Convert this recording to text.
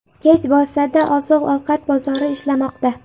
Kech bo‘lsa-da, oziq-ovqat bozori ishlamoqda.